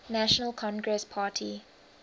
national congress party